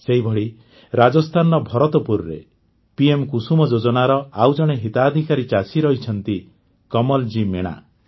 ସେହିଭଳି ରାଜସ୍ଥାନର ଭରତପୁରରେ ପିଏମ କୁସୁମ ଯୋଜନାର ଆଉ ଜଣେ ହିତାଧିକାରୀ ଚାଷୀ ରହିଛନ୍ତି କମଲ୍ ଜୀ ମିଣା